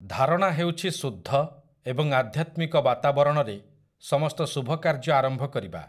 ଧାରଣା ହେଉଛି ଶୁଦ୍ଧ ଏବଂ ଆଧ୍ୟାତ୍ମିକ ବାତାବରଣରେ ସମସ୍ତ ଶୁଭ କାର୍ଯ୍ୟ ଆରମ୍ଭ କରିବା ।